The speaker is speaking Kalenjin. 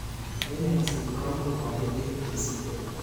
Eng engset komuch koimbich missing.